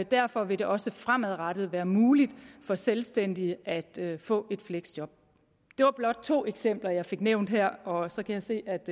derfor vil det også fremadrettet være muligt for selvstændige at få et fleksjob det var blot to eksempler jeg fik nævnt her og så kan jeg se at